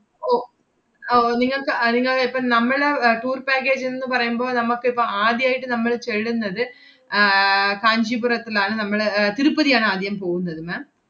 ഓ അഹ് ഓ നിങ്ങക്ക് അഹ് നിങ്ങള് ഇപ്പ നമ്മള് ഏർ tour package ന്ന് പറയുമ്പോ നമ്മക്കിപ്പ ആദ്യായിട്ട് നമ്മൾ ചെള്ളുന്നത് ആഹ് കാഞ്ചീപുരത്തിലാണ്‌ നമ്മള് ഏർ തിരുപ്പതിയാണ് ആദ്യം പോവുന്നത് ma'am